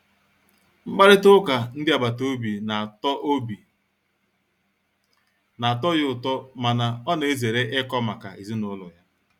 Mkparịta ụka ndị agbata obi na-atọ obi na-atọ ya ụtọ mana ọ na-ezere ikọ maka ezinụlọ ya.